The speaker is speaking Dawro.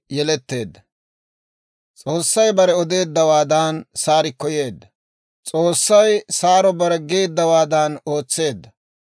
S'oossay bare odeeddawaadan Saarikko yeedda; S'oossay Saaro bare geeddawaadan ootseedda.